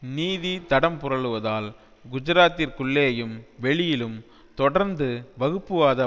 நீதி தடம் புரளுவதால் குஜராத்திற்குள்ளேயும் வெளியிலும் தொடர்ந்து வகுப்புவாத